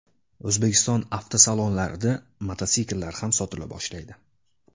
O‘zbekiston avtosalonlarida mototsikllar ham sotila boshlaydi.